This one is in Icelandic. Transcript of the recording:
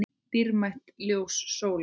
Dýrmætt ljós sólar.